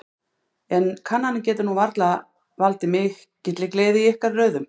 En kannanir geta nú varla valdið mikilli gleði í ykkar röðum?